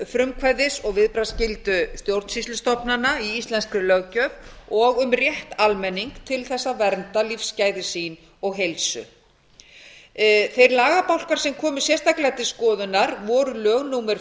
um frumkvæðis og viðbragðsskyldu stjórnsýslustofnana í íslenskri löggjöf og um rétt almennings til þess að vernda lífsgæði sín og heilsu þeir lagabálkar sem komu sérstaklega til skoðunar voru lög númer